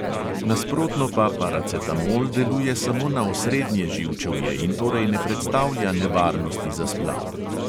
Nasprotno pa paracetamol deluje samo na osrednje živčevje in torej ne predstavlja nevarnosti za splav.